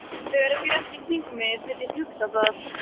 Það er bjart í kringum mig þegar ég hugsa það.